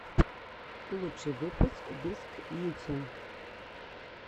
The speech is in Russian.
лучший выпуск бисткьюти